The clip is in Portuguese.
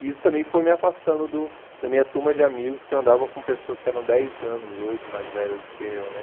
E isso também foi me afastando do da minha turma de amigos, que eu andava com pessoas que eram dez anos, oito, mais velhos do que eu, né?